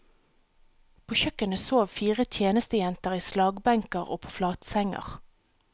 På kjøkkenet sov fire tjenestejenter i slagbenker og på flatsenger.